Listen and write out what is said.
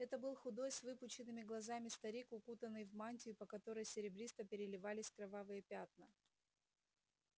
это был худой с выпученными глазами старик укутанный в мантию по которой серебристо переливались кровавые пятна